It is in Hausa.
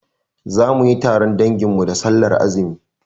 Zamuyi taron dangin mu da sallar azumi